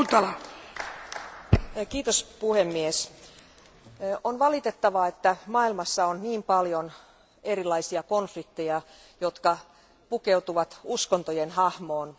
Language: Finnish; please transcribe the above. Arvoisa puhemies, on valitettavaa, että maailmassa on niin paljon erilaisia konflikteja, jotka pukeutuvat uskontojen hahmoon.